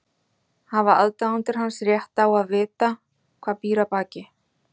Hafa aðdáendur hans rétt á að vita hvað býr að baki?